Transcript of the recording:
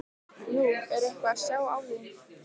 Nú, er eitthvað að sjá á því?